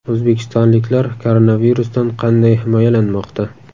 O‘zbekistonliklar koronavirusdan qanday himoyalanmoqda?